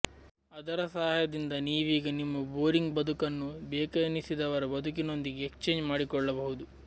ಅದರ ಸಹಾಯದಿಂದ ನೀವೀಗ ನಿಮ್ಮ ಬೋರಿಂಗ್ ಬದುಕನ್ನು ಬೇಕೆನಿಸಿದವರ ಬದುಕಿನೊಂದಿಗೆ ಎಕ್ಸ್ಚೇಂಜ್ ಮಾಡಿಕೊಳ್ಳಬಹುದು